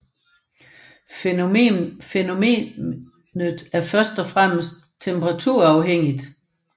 Fænomenet er først og fremmest temperaturafhængigt